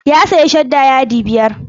Ya sayi shadda yadi biyar.